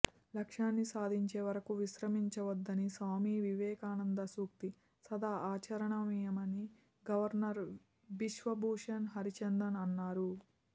లక్ష్యాన్ని సాధించే వరకు విశ్రమించవద్దన్న స్వామి వివేకానంద సూక్తి సదా ఆచరణీయమని గవర్నర్ బిశ్వభూషణ్ హరిచందన్ అన్నారు